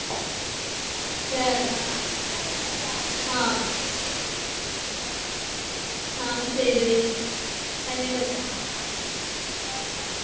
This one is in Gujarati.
તો ઉતરાયણ આમ તો મજા આવે છે ચીકી ખાવાની હોય શેરડી ખાવાની હોય મજા નવા નવા